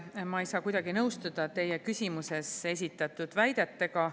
Taas ma ei saa kuidagi nõustuda teie küsimuses esitatud väidetega.